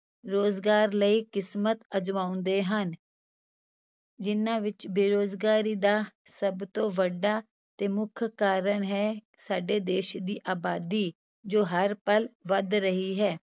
ਰੁਜ਼ਗਾਰ ਲਈ ਕਿਸਮਤ ਅਜਮਾਉਂਦੇ ਹਨ ਜਿਹਨਾਂ ਵਿੱਚ ਬੇਰੁਜ਼ਗਾਰੀ ਦਾ ਸਭ ਤੋਂ ਵੱਡਾ ਤੇ ਮੁੱਖ ਕਾਰਨ ਹੈ ਸਾਡੇ ਦੇਸ ਦੀ ਆਬਾਦੀ, ਜੋ ਹਰ ਪਲ ਵੱਧ ਰਹੀ ਹੈ।